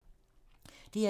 DR2